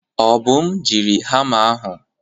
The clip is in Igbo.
Obum jiri hamma ahụ.